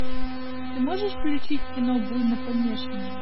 ты можешь включить кино буйнопомешанные